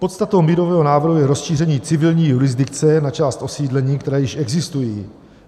Podstatou mírového návrhu je rozšíření civilní jurisdikce na část osídlení, která již existují.